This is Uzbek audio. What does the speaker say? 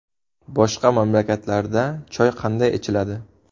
Boshqa mamlakatlarda choy qanday ichiladi?